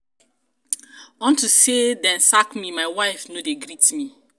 unto say dey sack me my wife no dey greet me.